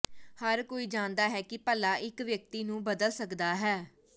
ਹਰ ਕੋਈ ਜਾਣਦਾ ਹੈ ਕਿ ਪੱਲਾ ਇੱਕ ਵਿਅਕਤੀ ਨੂੰ ਬਦਲ ਸਕਦਾ ਹੈ